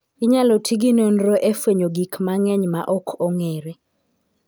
Inyalo tigi nonro e fwenyo gik mang'eny ma ok ong'ere.